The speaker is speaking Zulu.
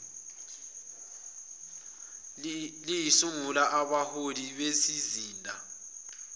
lisungule abahloli bezizinda